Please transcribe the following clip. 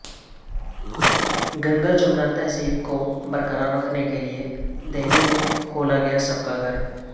گنگا جمنی تہذیب کو برقرار رکھنے کے لئے دہلی میں کھولا گیا سب کا گھر